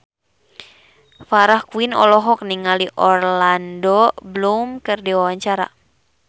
Farah Quinn olohok ningali Orlando Bloom keur diwawancara